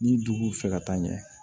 Ni dugu fɛ ka taa ɲɛ